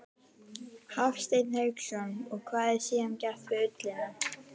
Hafsteinn Hauksson: Og hvað er síðan gert við ullina?